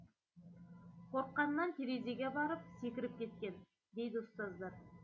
қорыққанынан терезеге барып секіріп кеткен дейді ұстаздар